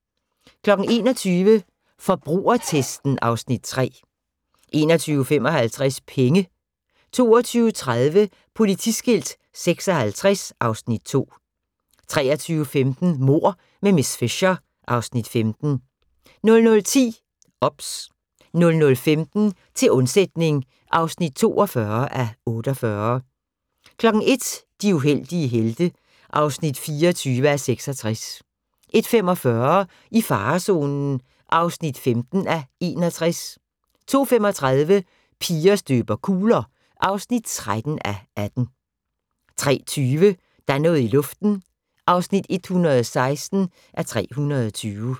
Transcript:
21:00: Forbrugertesten (Afs. 3) 21:55: Penge 22:30: Politiskilt 56 (Afs. 2) 23:15: Mord med miss Fisher (Afs. 15) 00:10: OBS 00:15: Til undsætning (42:48) 01:00: De heldige helte (24:66) 01:45: I farezonen (15:61) 02:35: Piger støber kugler (13:18) 03:20: Der er noget i luften (116:320)